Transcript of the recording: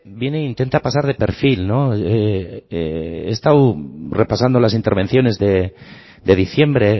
viene e intenta pasar de perfil no he estado repasando las intervenciones de diciembre